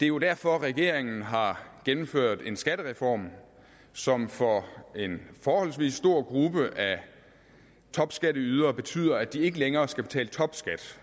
jo derfor regeringen har gennemført en skattereform som for en forholdsvis stor gruppe af topskatteydere betyder at de ikke længere skal betale topskat